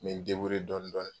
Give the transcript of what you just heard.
Mɛ n dɔni dɔni